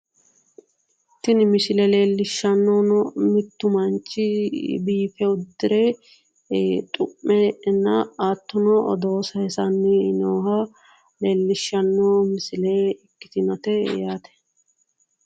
Tini misile lellishannohuno mittu manchi biife uddire xu'me na hattono aodoo saayissanni nooha leellishshanno misile ikkitinote yaate.